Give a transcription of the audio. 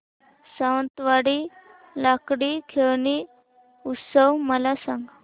सावंतवाडी लाकडी खेळणी उत्सव मला सांग